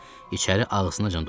İçəri ağzınacan dolu idi.